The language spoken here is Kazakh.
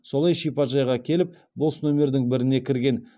солай шипажайға келіп бос номердің біріне кірген